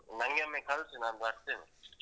ನಂಗೆ ಒಮ್ಮೆ ಕಲ್ಸಿ ನಾನ್ ಬರ್ತೆನೆ.